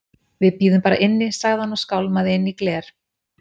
Við bíðum bara inni- sagði hann og skálmaði inn í gler